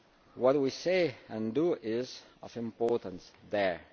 What we say and do is of importance there.